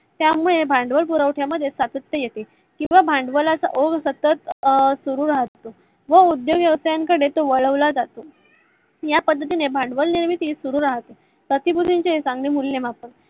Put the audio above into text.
त्यामुळे भांडवल भरवशा मध्ये सातत्य येते किवा भांडवलाच सतत सुरु राहतो व उद्योजकान कडे तो वळवला जातो. या पद्धतीने भांडवल निर्मिती सुरु राहते. प्र्तीभूतीन चे चांगले मूल्यमापन